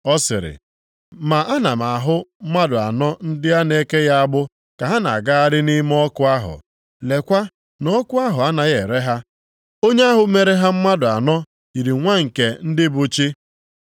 Ọ sịrị, “Ma ana m ahụ mmadụ anọ ndị a na-ekeghị agbụ, ka ha na-agagharị nʼime ọkụ ahụ. Leekwa na ọkụ ahụ anaghị ere ha. Onye ahụ mere ha mmadụ anọ yiri nwa nke ndị bụ chi.”